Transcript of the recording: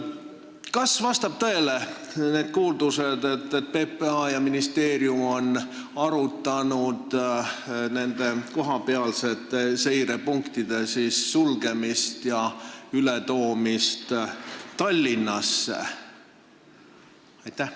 Kas vastavad tõele kuuldused, et PPA ja ministeerium on arutanud kohapealsete seirepunktide sulgemist ja ületoomist Tallinnasse?